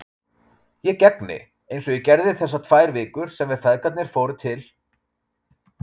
Ég gegni, eins og ég gerði þessar tvær vikur sem feðgarnir fóru til